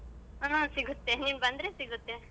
ಹಾ ಸಿಗುತ್ತೆ ನೀನ್ ಬಂದ್ರೆ ಸಿಗುತ್ತೆ.